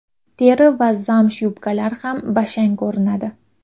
Teri va zamsh yubkalar ham bashang ko‘rinadi.